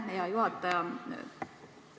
Aitäh, hea juhataja!